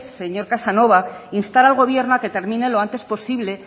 señor casanova instar al gobierno a que termine lo antes posible